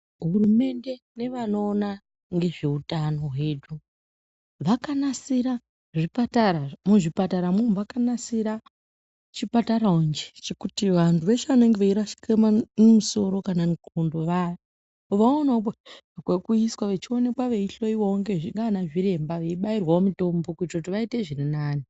Hurumende nevanoona ngezveutano hwedu, vakanasira zvipatara. Muzvipatara mu umu, vakanasira chipatarawonje chekuti vantu veshe vanenge veirashike misoro kana ndxondo vaya vaonewowo kwekuiswa vechioneka veihloyiwa nganazviremba veibayirwawo mitombo kuitire kuti vaite zvirinani.